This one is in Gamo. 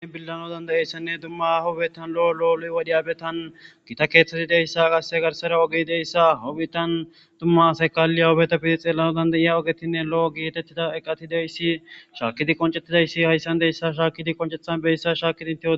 An billano dandayessanne dumma hobetan lo'o lo'oloy wadiyabetan gita keeththeti deyssa qasse garsara ogi deyssa hobitan dumma asaykali hoobetafidi xeelano dandayiya ogetinne lo'o gietettida eqatidayssi shaakidi qoncettidayssi hayssan deyssa shaakidi qoncethan beyssa shaakidintio.